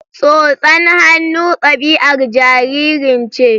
Tsotsar hannu ɗabi'ar jaririn ce